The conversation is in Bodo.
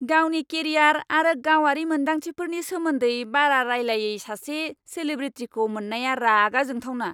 गावनि केरियार आरो गावारि मोन्दांथिफोरनि सोमोन्दै बारा रायलायै सासे सेलेब्रिटीखौ मोननाया रागा जोंथावना।